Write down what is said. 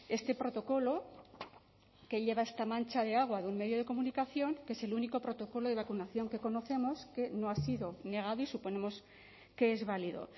este protocolo que lleva esta mancha de agua de un medio de comunicación que es el único protocolo de vacunación que conocemos que no ha sido negado y suponemos que es válido